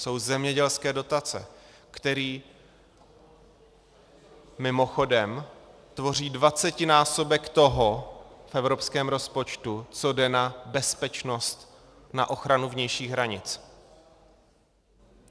Jsou zemědělské dotace, které mimochodem tvoří dvacetinásobek toho v evropském rozpočtu, co jde na bezpečnost, na ochranu vnějších hranic.